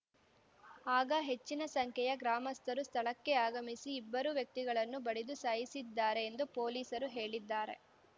ಆಗ ಹೆಚ್ಚಿನ ಸಂಖ್ಯೆಯ ಗ್ರಾಮಸ್ಥರು ಸ್ಥಳಕ್ಕೆ ಆಗಮಿಸಿ ಇಬ್ಬರೂ ವ್ಯಕ್ತಿಗಳನ್ನು ಬಡಿದು ಸಾಯಿಸಿದ್ದಾರೆ ಎಂದು ಪೊಲೀಸರು ಹೇಳಿದ್ದಾರೆ